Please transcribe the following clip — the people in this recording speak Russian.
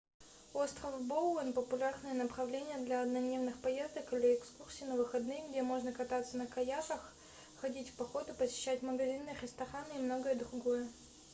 остров боуэн популярное направление для однодневных поездок или экскурсий на выходные где можно кататься на каяках ходить в походы посещать магазины и рестораны и многое другое